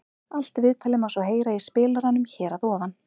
Allt viðtalið má svo heyra í spilaranum hér að ofan.